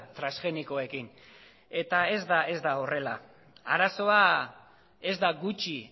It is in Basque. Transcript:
transgenikoekin eta ez da horrela arazoa ez da gutxi